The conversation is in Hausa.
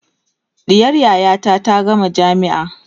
ɗiyar yayata ta gama jamia